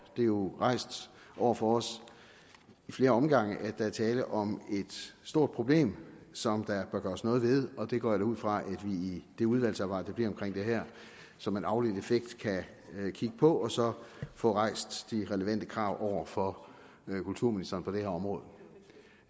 det er jo rejst over for os i flere omgange at der er tale om et stort problem som der bør gøres noget ved og det går jeg da ud fra at vi i det udvalgsarbejde der bliver omkring det her som en afledt effekt kan kigge på og så få rejst de relevante krav over for kulturministeren på det her område